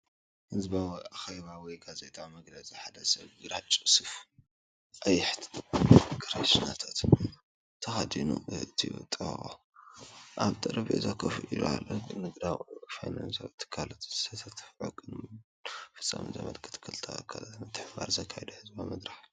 ህዝባዊ ኣኼባ ወይ ጋዜጣዊ መግለጺ ፣ሓደ ሰብ ግራጭ ሱፍ ቀይሕ ክራቫታን ተኸዲኑ ኣእዳዉ ተጣቢቑ ኣብ ሓደ ጠረጴዛ ኮፍ ኢሉ ኣሎ። ንግዳዊ ወይ ፋይናንሳዊ ትካላት ዘሳትፍ ዕቱብን ሞያውን ፍጻመ ዘመልክት ክልተ ትካላት ምትሕብባር ዝካየደሉ ህዝባዊ መድረኽ እዩ።